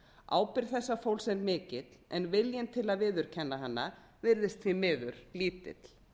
ábyrgð þessa fólks er mikil en viljinn til að viðurkenna hana virðist því miður lítill